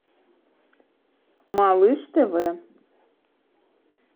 малыш тв